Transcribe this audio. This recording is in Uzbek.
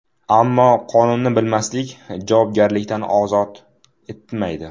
Ammo qonunni bilmaslik javobgarlikdan ozod etmaydi.